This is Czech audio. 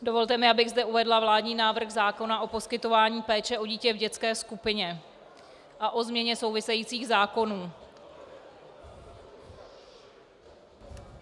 Dovolte mi, abych zde uvedla vládní návrh zákona o poskytování péče o dítě v dětské skupině a o změně souvisejících zákonů.